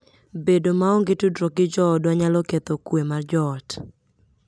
Bedo maonge tudruok gi joodwa nyalo ketho kuwe mar joot.